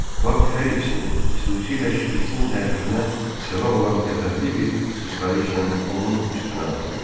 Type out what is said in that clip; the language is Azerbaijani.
Bak hər ikisinin, xüsusilə Şpiçin təəccübünə səbəb olan qəzəbli bir sıçrayışla onun üstünə atıldı.